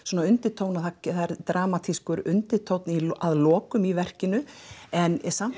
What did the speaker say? undirtóna það er dramatískur undirtónn í lokin í verkinu en samt